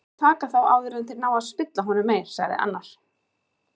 Rétt er að taka þá áður en þeir ná að spilla honum meir, sagði annar.